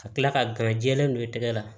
Ka tila ka garɛ don i tɛgɛ la